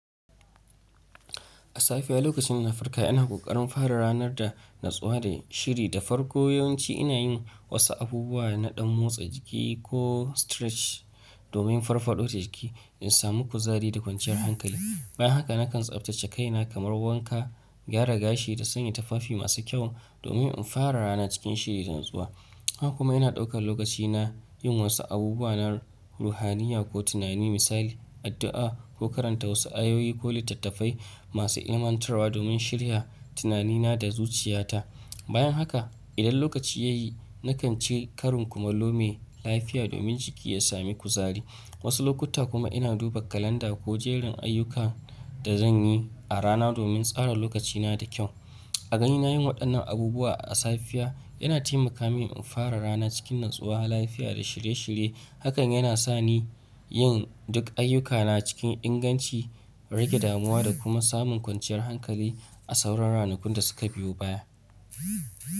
A safiya lokacin ina farka, ina ƙoƙarin fara ranar da natsuwa da shiri. Da farko yawanci ina yin wasu abubuwa na ɗan motsa jiki ko stretch domin farfaɗo jiki in sami kuzari da kwanciyar hankali. Bayan haka nakan tsabtace kaina kamar wanka, gyara gashi da sanya tufafi masu kyau domin in fara rana cikin shiri da natsuwa. Haka kuma ina ɗaukan lokaci na yin wasu abubuwa na ruhaniya ko tunani misali addu'a ko karanta wasu ayoyi ko littattafai masu ilmantarwa domin shirya tunani na da zuciya ta. Bayan haka idan lokaci ya yi nakan ci karin kuma nome lafiya domin jiki ya sami kuzari. Wasu lokuta kuma ina duba kalanda ko jerin ayyukan da zan yi a rana domin tsara lokaci na da kyau. A ganin na yin waɗannan abubuwa a safiya yana taimaka mini in fara rana cikin natsuwa, lafiya da shirye-shirye. Hakan yana sa ni yin duk ayyukana cikin inganci, rage damuwa da kuma samun kwanciyar hankali a sauran ranakun da suka biyo baya.